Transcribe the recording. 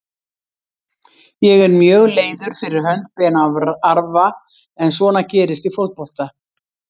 Ég er mjög leiður fyrir hönd Ben Arfa en svona gerist í fótbolta.